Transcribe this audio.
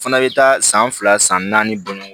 Fana bɛ taa san fila san naani bɔ ɲɔgɔn